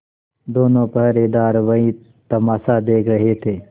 दोनों पहरेदार वही तमाशा देख रहे थे